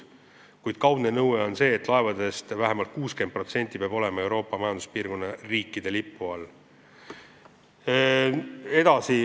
Kuid kaudne nõue on see, et vähemalt 60% laevadest peab olema Euroopa Majanduspiirkonna riikide lipu all.